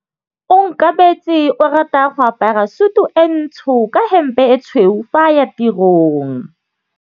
Onkabetse o rata go apara sutu e ntsho ka hempe e tshweu fa a ya tirong.